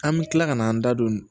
An bɛ tila kana an da don